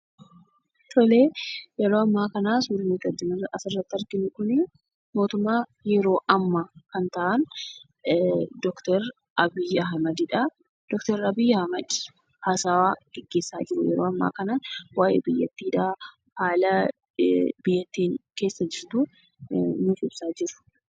Tole suuraan asiin gaditti argaa jirru kun mootummaa yeroo ammaa kana kan ta'an Doktor Abiy Ahmedidha. Doktor Abiy Ahmed haasaa gaggeessaa jiru yeroo ammaa kana. Waa'ee biyyattiidha, haala biyyattiin keessa jirtu nuuf ibsaa jiru